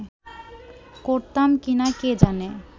করতাম কি না কে জানে